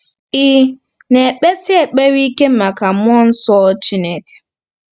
Ị̀ na-ekpesi ekpere ike maka mmụọ nsọ Chineke?